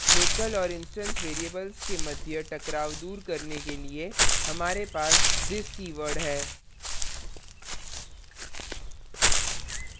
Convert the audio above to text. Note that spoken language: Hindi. local और instance variables के मध्य टकराव दूर करने के लिए हमारे पास this कीवर्ड है